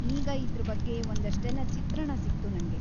ಈಗ ಇದ್ರ ಬಗ್ಗೆ ಒಂದಷ್ಟೆಲ್ಲ ಚಿತ್ರಣ ಸಿಕ್ತು ನಂಗೆ.